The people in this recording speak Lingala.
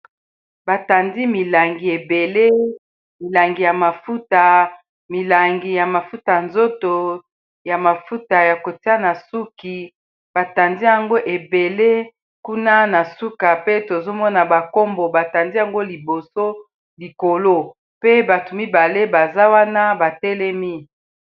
batandi milangi ebele milangi ya mafuta milangi ya mafuta nzoto ya mafuta ya kotia na suki batandi yango ebele kuna na suka pe tozomona bankombo batandi yango liboso likolo pe bato mibale baza wana batelemi